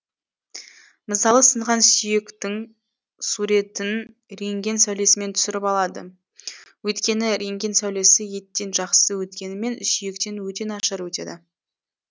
мысалы сынған сүйектін суретін рентген сәулесімен түсіріп алады өйткені рентген сәулесі еттен жақсы өткенімен сүйектен өте нашар өтеді